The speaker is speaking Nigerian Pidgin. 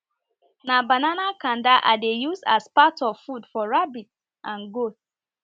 na banana kanda i dey use as part of food for rabbits and goats